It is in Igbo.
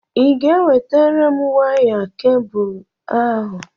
Ị ga-ewetara m waya kebụl ahụ?